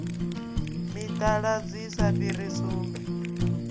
mitaladzi i sa fhiri sumbe